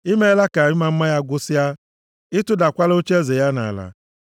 I meela ka ịma mma ya gwụsịa. Ị tụdakwala ocheeze ya nʼala.